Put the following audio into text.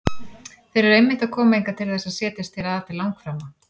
Þeir eru einmitt að koma hingað til þess að setjast hér að til langframa!